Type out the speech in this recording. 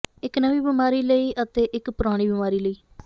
ਇਕ ਨਵੀਂ ਬਿਮਾਰੀ ਲਈ ਅਤੇ ਇਕ ਪੁਰਾਣੀ ਬਿਮਾਰੀ ਲਈ